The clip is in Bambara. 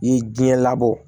I ye diɲɛ labɔ